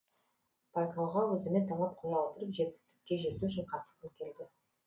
байқауға өзіме талап қоя отырып жетістікке жету үшін қатысқым келді